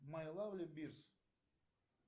май лавли бирс